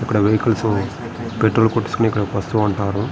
ఇక్కడ vehicles petrol కొట్టించుకొని ఇక్కడికి వస్తుఉంటారు.